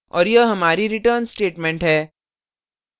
और यह हमारी return statement है